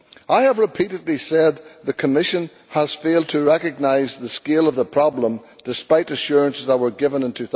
I have repeatedly said that the Commission has failed to recognise the scale of the problem, despite assurances that were given in